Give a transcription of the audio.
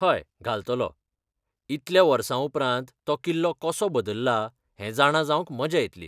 हय, घालतालो. इतल्या वर्सां उपरांत तो किल्लो कसो बदल्ला हें जाणा जावंक मजा येतली.